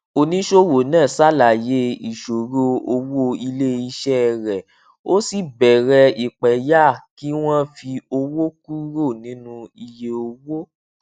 oníṣòwò náà ṣàlàyé ìṣòro owó ilé iṣẹ rẹ ó sì bẹrẹ ìpẹyà kí wọn fi owó kúrò nínú iye owó